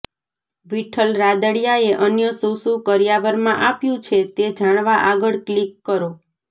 વિઠ્ઠલ રાદડિયાએ અન્ય શું શું કરિયાવરમાં આપ્યું છે તે જાણવા આગળ ક્લિક કરો